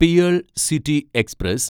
pearl City express